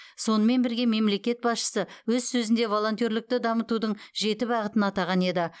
сонымен бірге мемлекет басшысы өз сөзінде волонтерлікті дамытудың жеті бағытын атаған еді